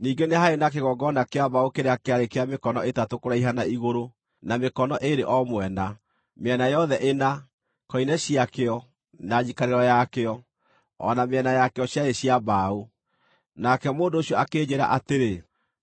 Ningĩ nĩ haarĩ na kĩgongona kĩa mbaũ kĩrĩa kĩarĩ kĩa mĩkono ĩtatũ kũraiha na igũrũ, na mĩkono ĩĩrĩ o mwena, mĩena yothe ĩna; koine ciakĩo, na njikarĩro yakĩo, o na mĩena yakĩo ciarĩ cia mbaũ. Nake mũndũ ũcio akĩnjĩĩra atĩrĩ,